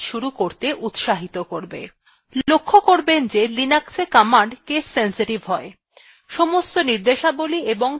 লক্ষ্য করবেন the linuxwe command case sensitive হয়